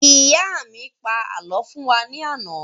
Ìyá mi pa àlọ́ fún wa ní àná